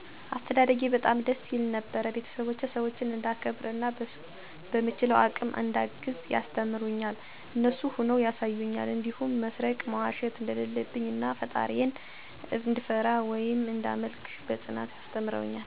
አስተዳደጌ በጣም ደስ ይል ነበር ቤተስቦቸ ሰዎችን እዳከብር እና በምችለው አቅም እዳግዝ ያስተምሩኛል እነሱም ሁነው ያሳዩኛል እንዲሁም መስረቅ፣ መዋሸት እደለለብኝ እናፈጣሪየን እድፈራ ወይም እዳመልክ በአፅኖት አስተምረውኛል።